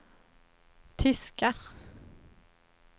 tyska